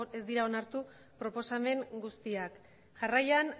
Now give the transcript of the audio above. ez dira onartu proposamen guztiak jarraian